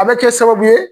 A bɛ kɛ sababu ye